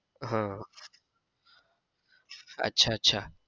હમ અચ્છા અચ્છા.